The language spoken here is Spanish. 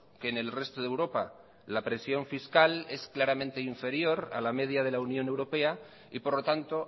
que en el resto de europa la presión fiscal es claramente inferior a la media de la unión europea y por lo tanto